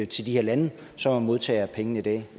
til de her lande som er modtagere af pengene i dag